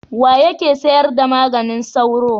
Wa yake sayar da maganin sauro?